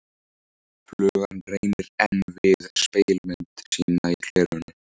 Flugan reynir enn við spegilmynd sína í glerinu.